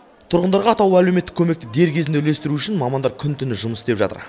тұрғындарға атаулы әлеуметтік көмекті дер кезінде үлестіру үшін мамандар күні түні жұмыс істеп жатыр